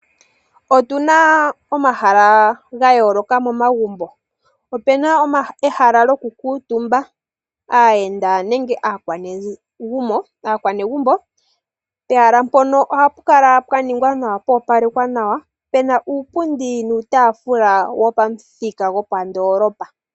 Otuna omahala ga yooloka momagumbo. Opuna ehala lyoku kuutumba aayenda nenge aanegumbo. Pehala mpoka hapu kala pwa opalekwa nawa puna uupundi nuutaafula wopamuthika gwopandoolopa.